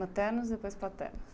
Maternos e depois paternos.